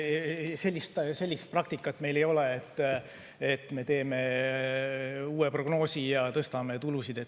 Ei, sellist praktikat meil ei ole, et me teeme uue prognoosi ja tõstame tulusid.